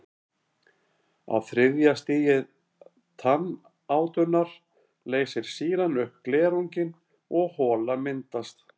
Á þriðja stigi tannátunnar leysir sýran upp glerunginn og hola myndast.